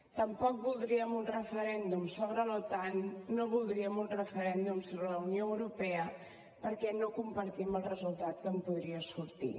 tampoc voldríem un referèndum sobre l’otan no voldríem un referèndum sobre la unió europea perquè no compartim el resultat que en podria sortir